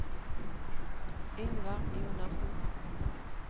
Yngvar Jonassen